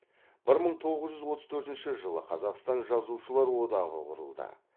бір мың тоғыз жүз отыз төртінші жылы қазақстан жазушылар одағы құрылды